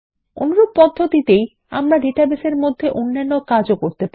অনুরূপ পদ্ধতিতে আমরা ডাটাবেসের মধ্যে অন্যান্য কাজও করতে পারি